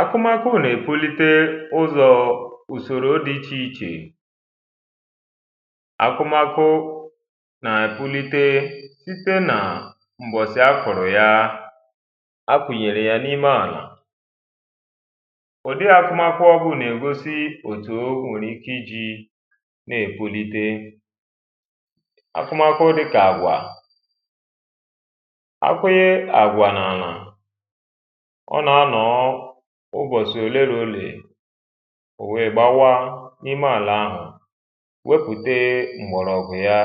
Akụmakụ nà-èpulite ụzọ ùsoro dị icheichè Akụmakụ nà-èpulite sitē nà m̀bọ̀sị̀ a kụ̀rụ̀ ya a kụ̀nyere ya n’ime àlà ụ̀dị akụmakụ ọrụ a nà-ègosi òtū o nwèrè ike ijī nà-èpulite akụmakụ dịkà àgwà a kụnye àgwà n’àlà ọ nà-ànọ̀ọ̀ ụbọsị òlẹ̀lòlẹ̀ o nwèè gbawaa n’ime àlà ahụ̀ wepùte m̀gbọ̀rọ̀gwụ ya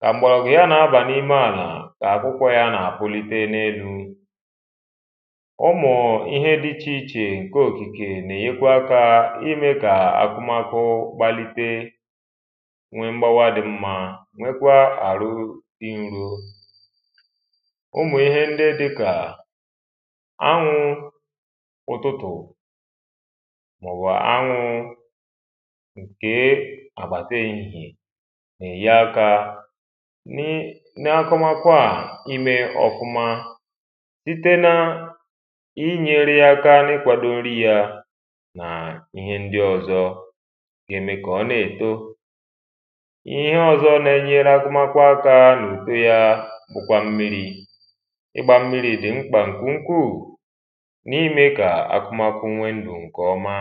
kà m̀gbọ̀rọ̀gwụ̀ ya na-aba n’ime àlà kà akwụkwọ ya nà-àpụlite n’elu Ụmụ̀ ihẹ dị̀ ichèichè ǹkẹ̀ òkìkè Nà-ènyekwu akā Imekà akụmakụ gbalite Nwee m̀gbawa dị̀ mmā nwekwaa arụ̀ dị̀ ǹrò ụmụ̀ ihẹ ǹdị dịkà anwụ ụtụtụ̀ maọ̀bụ̀ anwụ kee àgbàtà ehihie nà-ènye akā n’akụmakwa a imè ọfụma site na inyere ya aka n’ịkwàdo ǹri ya nà ihẹ ǹdị ọ̀zọ̀ gà-ème kà ọ nà-èto ihe ọ̀zọ̀ nà-ènyere akụmakwa aka n’ùto ya bụkwà m̀miri ịgbà m̀miri dị̀ mkpa ǹke ukwuu n’imè kà akụmakụ nwee ǹdụ ǹkẹ̀ ọmà